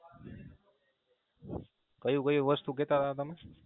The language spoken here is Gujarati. કયું કયું વસ્તુ કેતાતા તમે